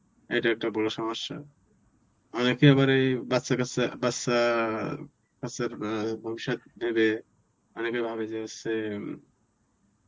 এটা একটা বড়ো সমস্যা. অনেকেই আবার এই বাচ্চা কাচ্চা বাচ্চা বাচ্চা~ বাচ্চার ভবিষ্যত ভেবে অনেকে ভাবে যে হচ্ছে,